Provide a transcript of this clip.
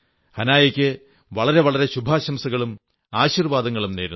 ഹനായായ്ക്ക് വളരെ വളരെ ശുഭാശംസകളും ആശീർവ്വാദങ്ങളും നേരുന്നു